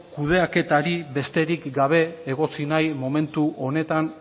kudeaketarik besterik gabe egotzi nahi momentu honetan